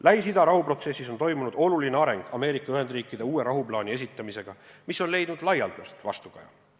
Lähis-Ida rahuprotsessis on toimunud oluline areng Ameerika Ühendriikide uue rahuplaani esitamisega, mis on leidnud laialdast vastukaja.